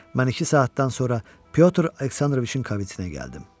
Mən iki saatdan sonra Pyotr Aleksandroviçin kabinetinə gəldim.